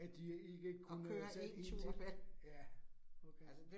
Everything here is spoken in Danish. At de ikke kunne tage 1 til. Ja, okay